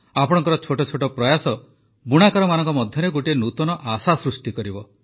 ଆପଣଙ୍କର ଛୋଟ ଛୋଟ ପ୍ରୟାସ ବୁଣାକାରମାନଙ୍କ ମଧ୍ୟରେ ଗୋଟିଏ ନୂତନ ଆଶା ସୃଷ୍ଟି କରିବ